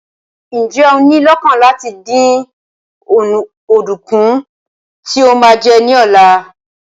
Ǹjẹ́ o ní i lọ́kàn láti dín ọ̀dùnkún tí o máa jẹ ní ọ̀la?